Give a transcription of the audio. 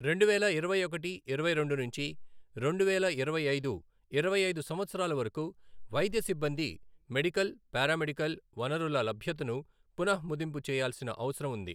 రెండువేల ఇరవై ఒకటి ఇరవై రెండు నుంచి రెండువేల ఇరవై ఐదు, ఇరవై ఐదు సంవత్సరాల వరకు వైద్య సిబ్బంది మెడికల్, పారామెడికల్, వనరుల లభ్యతను పునః మదింపు చేయాల్సిన అవసరం ఉంది.